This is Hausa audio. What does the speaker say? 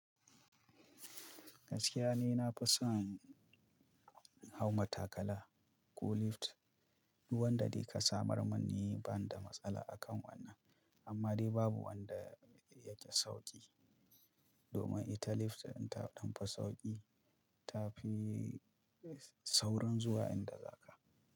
Gaskiya ni na fi son in hau matakala ko lift, duk wanda dai ka samar mun ni bani da matsala akan wannan, amma dai babu wanda yake sauƙi. Domin ita lifta ɗin ta ɗan fi sauƙi ta fi. Saurin zuwa inda za ka.